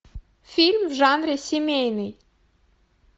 фильм в жанре семейный